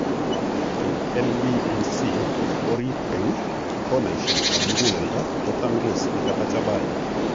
Eng' LVNC eng' orit eng, konaisiek ab muguleledo ko tangus nekata chabai